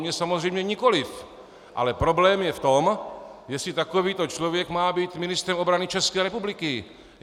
Mě samozřejmě nikoliv, ale problém je v tom, jestli takovýto člověk má být ministrem obrany České republiky.